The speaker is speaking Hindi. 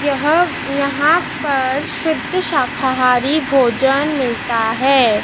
यह यहां पर शुद्ध शाकाहारी भोजन मिलता है।